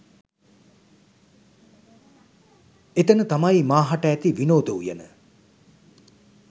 එතන තමයි මාහට ඇති විනෝද උයන